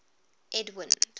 edwind